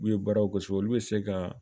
U ye baaraw gosi olu bɛ se ka